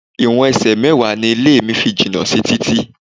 Ìwọ̀n ẹsẹ̀ mẹ́wàá ni ilé mi fi jìnà sí títì.